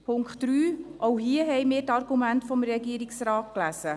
Zum Punkt 3: Auch hier haben wir die Argumente des Regierungsrates gelesen.